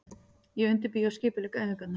Ég undirbý og skipulegg æfingarnar.